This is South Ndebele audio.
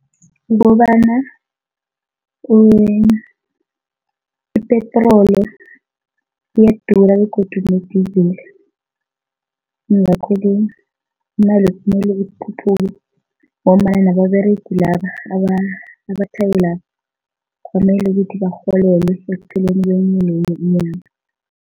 Kukobana ipetroli iyadura begodu ne-diesel yingakho-ke kumele ikhuphuke ngombana nababeregi laba abatjhayelaba kwamele ukuthi barholelwe ekupheleni kwenye nenye inyanga.